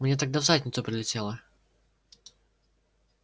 мне тогда в задницу прилетело